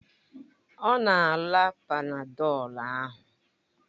Ọ na-ara Panadọlu ahụ